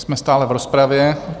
Jsme stále v rozpravě.